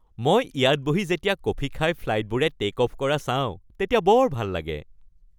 মই ইয়াত বহি যেতিয়া কফি খাই ফ্লাইটবোৰে টে'ক অফ্ কৰা চাওঁ তেতিয়া বৰ ভাল লাগে।